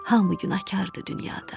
Hamı günahkardır dünyada.